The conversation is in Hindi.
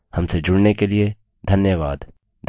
हमसे जुड़ने के लिए धन्यवाद